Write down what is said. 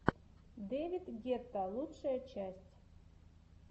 дэвид гетта лучшая часть